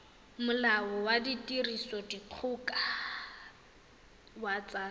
molao wa tirisodikgoka wa tsa